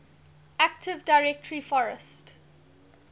active directory forest